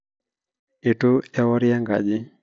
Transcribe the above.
itu ewori enkaji